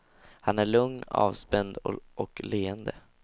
Han är lugn, avspänd och leende.